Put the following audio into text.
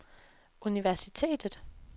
universitetet